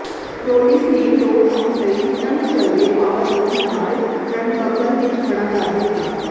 Rollins ਨੇ ਦੋ count ਲਈ ਸੀਨਾ ਨੂੰ ਚਲਦੇ ਪਾਵਰਬੋਮ ਨਾਲ ਟ੍ਰਨਬੱਕਲ ਵਿੱਚ ਖੜਾ ਕਰ ਦਿੱਤਾ